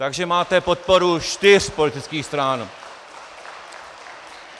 Takže máte podporu čtyř politických stran.